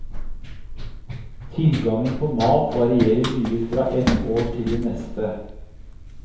Tilgangen på mat varierer mye fra ett år til det neste.